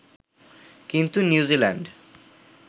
কিন্তু নিউজিল্যান্ড